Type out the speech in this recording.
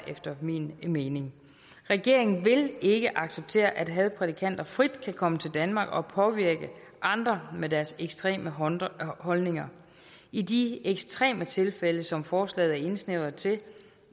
efter min mening også regeringen vil ikke acceptere at hadprædikanter frit kan komme til danmark og påvirke andre med deres ekstreme holdninger holdninger i de ekstreme tilfælde som forslaget er indsnævret til